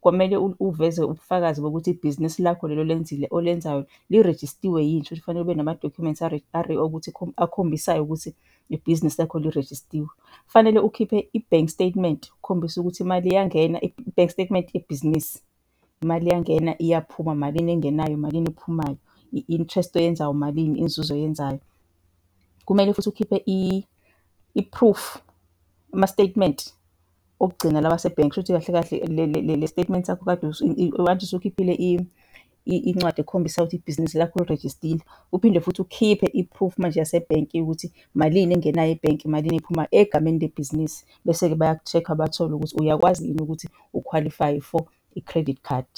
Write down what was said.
Kwamele uveze ubufakazi bokuthi ibhizinisi lakho leli olenzile, olenzayo lirejistiwe yini. Shuthi kufanele ube nama-documents akhombisayo ukuthi ibhizinisi lakho lirejistiwe. Kufanele ukhiphe i-bank statement ukukhombisa ukuthi imali iyangena, i-bank statement yebhizinisi, imali iyangena, iyaphuma, malini engenayo, imalini ephumayo, i-interest oyenzayo umalini, inzuzo oyenzayo. Kumele futhi ukhiphe i-proof, ama-statement okugcina lawa asebhenki, kushuthi kahle kahle le le le le statement sakho okade usukhiphile incwadi ekhombisayo ukuthi ibhizinisi lakho lirejistile. Uphinde futhi ukhiphe i-proof manje yasebhenki yokuthi malini engenayo ebhenki, malini ephumayo egameni lebhizinisi. Bese-ke bayaku-check-a bathole ukuthi uyakwazi yini ukuthi u-qualify-e for i-credit card.